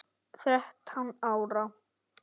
Þrettán ára?